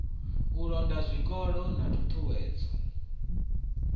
u londa zwikolo na ṱhuṱhuwedzo